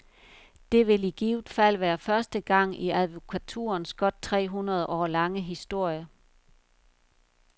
Det vil i givet fald være første gang i advokaturens godt tre hundrede år lange historie.